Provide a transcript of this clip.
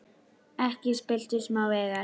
Ekki spilltu smá veigar.